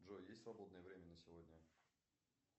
джой есть свободное время на сегодня